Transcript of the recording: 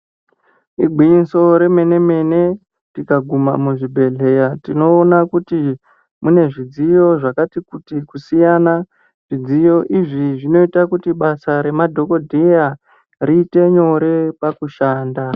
Igwinyiso remenemene tikaguma muzvibhedhlera tinoona kuti mune zvidziyo zvakati kuti kusiyana zvidziyo izvi zvinoita kuti basa remadhokodheya reiterate nyore pakushanda .